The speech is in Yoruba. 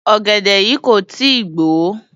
Ọ̀gẹ̀dẹ̀ yìí kò tí ì gbò ó.